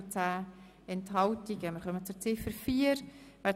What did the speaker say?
Wir stimmen über Ziffer 4 ab.